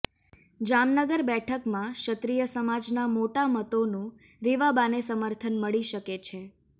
જામનગર બેઠકમાં ક્ષત્રિય સમાજના મોટા મતોનું રીવાબાને સમર્થન મળી શકે છે